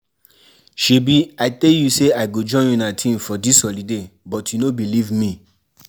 Shebi I tell you say I go join una team for dis holiday but you no believe me